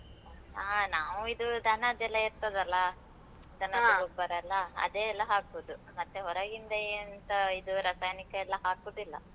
ಆ, ನಾವು ಇದು ದನದ್ದೆಲ್ಲ ಇರ್ತದಲ್ಲ? ಎಲ್ಲ ಅದೇ ಎಲ್ಲ ಹಾಕುದು. ಮತ್ತೆ ಹೊರಗಿಂದ ಎಂತ ಇದು ರಸಾಯನಿಕ ಎಲ್ಲ ಹಾಕುದಿಲ್ಲ.